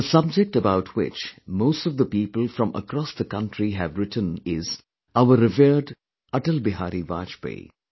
The subject about which most of the people from across the country have written is "Our revered AtalBehari Vajpayee"